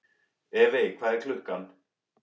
Evey, hvað er klukkan?